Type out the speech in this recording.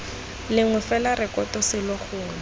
lengwe fela rekoto selo gongwe